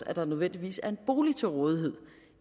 at der nødvendigvis er en bolig til rådighed